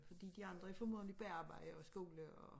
Fordi de andre er formodentlig på arbejde og skole og